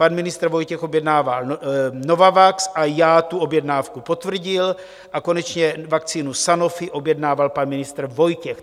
Pan ministr Vojtěch objednával Novavax a já tu objednávku potvrdil a konečně vakcínu Sanofi objednával pan ministr Vojtěch.